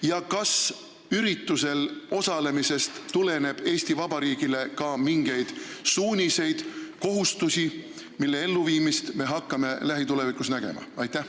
Ja kas üritusel osalemisest tuleneb Eesti Vabariigile ka mingeid suuniseid või kohustusi, mille elluviimist me hakkame lähitulevikus nägema?